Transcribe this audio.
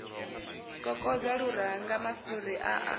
kokodza luranga mafhuri a a